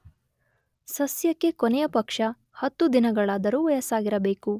ಸಸ್ಯಕ್ಕೆ ಕೊನೆಯ ಪಕ್ಷ 10 ದಿನಗಳಾದರೂ ವಯಸ್ಸಾಗಿರಬೇಕು.